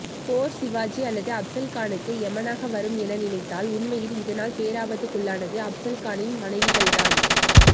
போர் சிவாஜி அல்லது அப்சல் கானுக்கு எமனாக வரும் என நினைத்தால் உண்மையில் இதனால் பேராபத்துக்குள்ளானது அப்சல் கானின் மனைவிகள்தான்